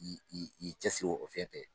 I i i cɛsiro o fɛn fɛ.